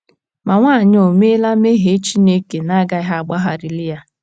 Ma, nwaanyị a ò meela mmehie Chineke na - agaghị agbagharali ya?